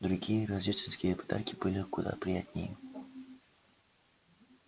другие рождественские подарки были куда приятнее